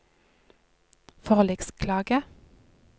forliksklage